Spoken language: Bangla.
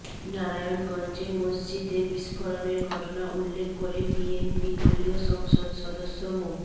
নারায়ণগঞ্জে মসজিদে বিস্ফোরণের ঘটনা উল্লেখ করে বিএনপি দলীয় সংসদ সদস্য মো